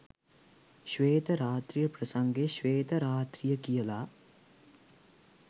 ශ්වේත රාත්‍රිය ප්‍රසංගය ශ්වේත රාත්‍රිය කියලා